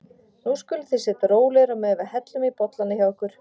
Nú skuluð þið sitja rólegir á meðan við hellum í bollana hjá ykkur.